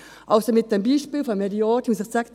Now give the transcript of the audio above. Zum Beispiel von Herrn Jordi muss ich sagen: